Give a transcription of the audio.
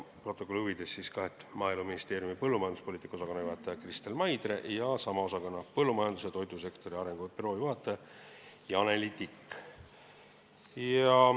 Protokolli huvides ütlen, et need olid Maaeluministeeriumi põllumajanduspoliitika osakonna juhataja Kristel Maidre ja sama osakonna põllumajandus- ja toidusektori arengu büroo juhataja Janeli Tikk.